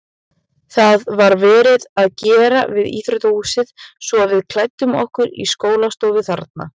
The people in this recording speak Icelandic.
Það var verið að gera við íþróttahúsið svo við klæddum okkur í skólastofu þarna.